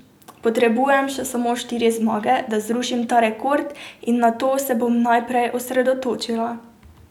Potrebujem še samo štiri zmage, da zrušim ta rekord in na to se bom najprej osredotočila.